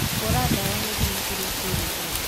Hũra dawa gĩthimi kĩrĩa kĩrĩtwo.